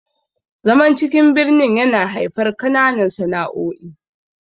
zaman cikin birnin yana haifar kananan sana'o'i